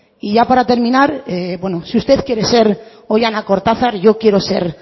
y ya para terminar bueno si usted quiere ser oihana kortazar yo quiero ser